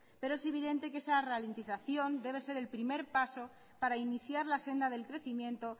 pero es evidente que esa ralentización debe ser el primer paso para iniciar la senda del crecimiento